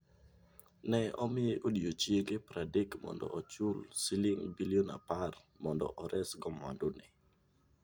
Ne omiye odiechienge pradek mondo ochul siling' bilion apar mondo oresgo mwandune.